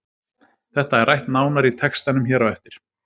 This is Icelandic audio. Þetta er rætt nánar í textanum hér á eftir.